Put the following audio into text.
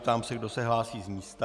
Ptám se, kdo se hlásí z místa.